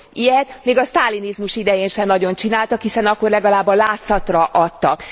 Ilyet még a sztálinizmus idején sem nagyon csináltak, hiszen akkor legalább a látszatra adtak.